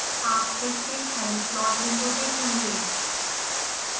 आप फिर से खाली प्लॉट विंडो देखेंगे